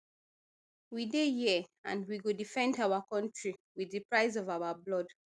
we dey here and we go defend our kontri wit di price of our blood